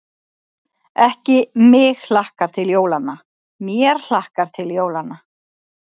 Ekki: mig hlakkar til jólanna, mér hlakkar til jólanna.